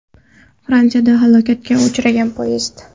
Fransiyada halokatga uchragan poyezd.